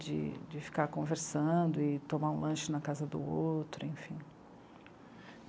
de, de ficar conversando e tomar um lanche na casa do outro, enfim.